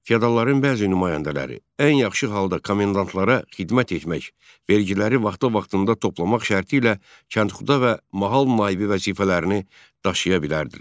Feodalların bəzi nümayəndələri ən yaxşı halda komendantlara xidmət etmək, vergiləri vaxtı-vaxtında toplamaq şərti ilə kəndxuda və mahal naibi vəzifələrini daşıya bilərdilər.